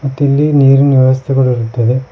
ಮತ್ತಿಲ್ಲಿ ನೀರಿನ್ ವ್ಯವಸ್ಥೆ ಕೂಡ ಇರುತ್ತದೆ.